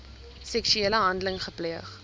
seksuele handeling gepleeg